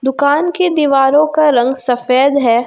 दुकान की दीवारों का रंग सफेद है।